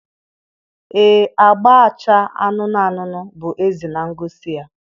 ee agba-acha anụnụ anụnụ bụ eze na ngosi ya